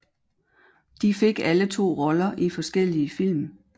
De fik alle to roller i forskellige film